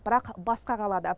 бірақ басқа қалада